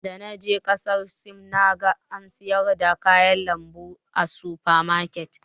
Da na je kasar Sin, na ga ana siyar da kayan lambu a sufa maket.